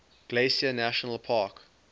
glacier national park